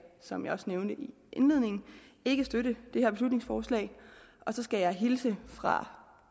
som jeg også nævnte i indledningen ikke støtte det her beslutningsforslag og så skal jeg hilse fra